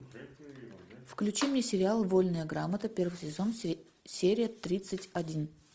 включи мне сериал вольная грамота первый сезон серия тридцать один